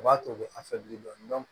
U b'a to dɔɔnin dɔɔnin